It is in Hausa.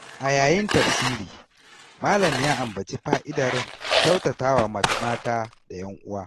A yayin tafsiri, malam ya ambaci fa’idar kyautata wa mata da ‘yan’uwa.